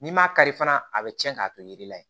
N'i ma kari fana a bɛ cɛn k'a to yiri la